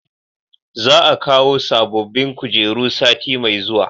Za a kawo sabobbin kujeru sati mai zuwa